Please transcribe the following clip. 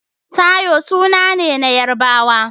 Taiwo suna ne na Yarabawa.